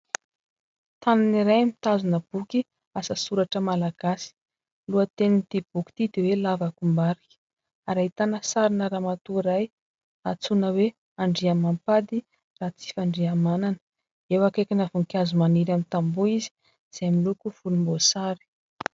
Tanana iray mitazona boky asa soratra Malagasy. Ny lohatenin'ity boky ity dia hoe lavakombarika ary ahitana sarina ramatoa iray atsoina hoe Andriamampandry Ratsifandriamanana. Eo akaikina voninkazo maniry amin'ny tamboa izy, izay miloko volomboasary.